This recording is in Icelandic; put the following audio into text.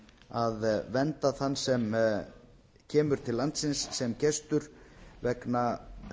að vernda þann sem kemur til landsins sem gestur vegna